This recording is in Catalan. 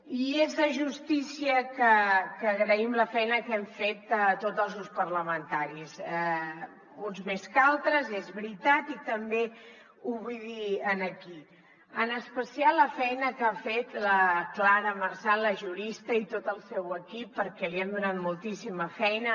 i és de justícia que agraïm la feina que hem fet tots els grups parlamentaris uns més que altres és veritat i també ho vull dir aquí i en especial la feina que ha fet la clara marsan la jurista i tot el seu equip perquè li hem donat moltíssima feina